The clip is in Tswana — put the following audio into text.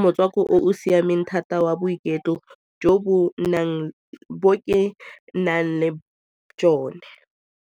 motswako o o siameng thata wa boiketlo bo ke nang le jone.